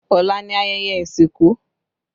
Ọ̀la ni ayẹyẹ ìsìnkú